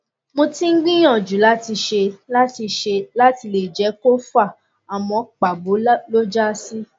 mo ti ń gbìyàjú láti ṣe láti ṣe láti lè jẹ kó fà àmọ pàbó ló já sí